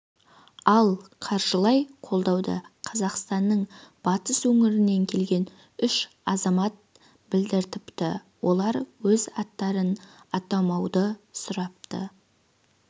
ал қаржылай қолдауды қазақстанның батыс өңірінен келген үш азамат білдіріпті олар өз аттарын атамауды сұрапты